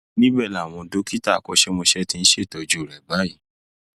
níbẹ làwọn dókítà akọṣẹmọṣẹ ti ń ṣètọjú rẹ lọwọ báyìí